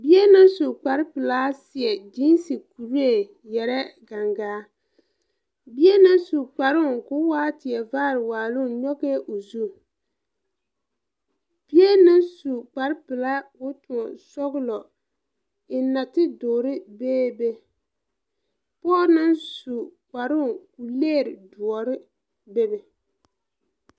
Bie na su kpare pilaa seɛ gyiise kuree ngmeɛrɛ gaŋgaa bie naŋ su kparoo koo waa tie vaare waaloŋ nyogɛɛ o zu bie naŋ su kpare pilaa koo tõɔ sɔglɔ eŋ nate duuɔre bee be pɔɔ naŋ su kparoo ko legre doɔre bebe.